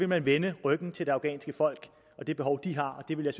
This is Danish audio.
man vende ryggen til det afghanske folk og de behov de har og det ville